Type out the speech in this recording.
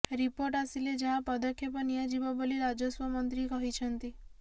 report ଆସିଲେ ଯାହା ପଦକ୍ଷେପ ନିଆଯିବ ବୋଲି ରାଜସ୍ବମନ୍ତ୍ରୀ କହିଛନ୍ତି